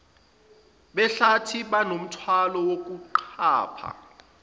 behlathi banomthwalo wokuqapha